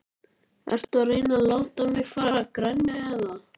Ertu að reyna að láta mig fara að grenja eða?